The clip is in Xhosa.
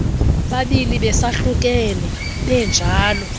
babini besahlukene benjalo